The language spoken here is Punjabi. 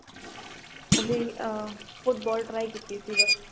ਉਹ ਵੀ ਆ football try ਕੀਤੀ ਸੀ ਬੱਸ